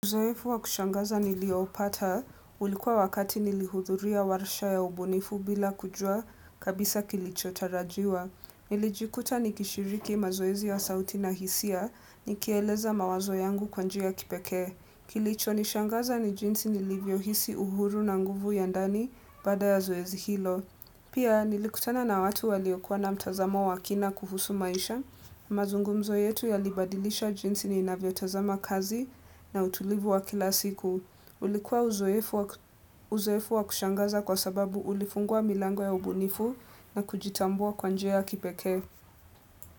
Uzoefu wa kushangaza nilioupata, ulikuwa wakati nilihudhuria warsha ya ubunifu bila kujua kabisa kilichotarajiwa. Nilijikuta nikishiriki mazoezi ya sauti na hisia, nikieleza mawazo yangu kwa njia ya kipekee. Kilichonishangaza ni jinsi nilivyohisi uhuru na nguvu ya ndani baada ya zoezi hilo. Pia, nilikutana na watu waliokuwa na mtazamo wa kina kuhusu maisha, mazungumzo yetu yalibadilisha jinsi ninavyotazama kazi na utulivu wa kila siku. Ulikuwa uzoefu wa kushangaza kwa sababu ulifungua milango ya ubunifu na kujitambua kwa njia ya kipekee.